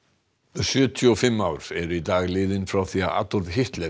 sjötíu og fimm ár eru í dag liðin frá því að Adolf Hitler